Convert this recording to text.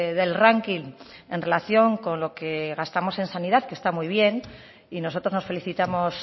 del ranking en relación con lo que gastamos en sanidad que está muy bien y nosotros nos felicitamos